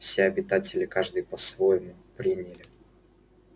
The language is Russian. все обитатели каждый по-своему приняли